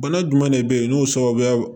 Bana jumɛn de be yen n'o sababuya